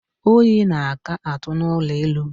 Oyi na-aka atụ n'ụlọ elu.